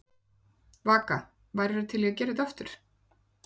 Vaka: Værirðu til í að gera þetta aftur?